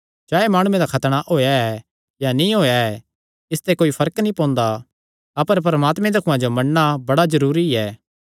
चाहे माणुये दा खतणा होएया ऐ या नीं होएया ऐ इसते कोई फर्क नीं पोंदा अपर परमात्मे दे हुक्मां जो मन्नणा बड़ा जरूरी ऐ